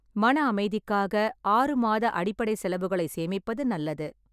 மன அமைதிக்காக, ஆறு மாத அடிப்படை செலவுகளை சேமிப்பது நல்லது.